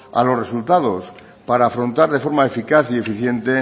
a los resultados para afrontar de forma eficaz y eficiente